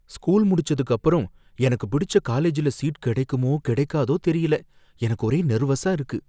School முடிச்சதுக்கு அப்புறம் எனக்கு பிடிச்ச காலேஜ்ல சீட் கிடைக்குமோ கிடைக்காதோ தெரியல, எனக்கு ஒரே நெர்வஸா இருக்கு.